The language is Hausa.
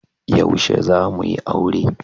Yaushe za mu yi aure?